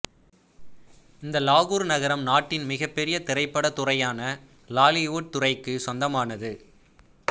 இந்த லாகூர் நகரம் நாட்டின் மிகப்பெரிய திரைப்படத் துறையான லாலிவுட் துறைக்கு சொந்தமானது